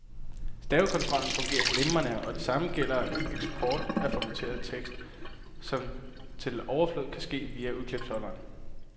Stavekontrollen fungerer glimrende, og det samme gælder eksporten af formateret tekst, som til overflod kan ske via udklipsholderen.